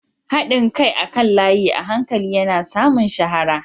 Haɗin kai akan layi a hankali yana samun shahara.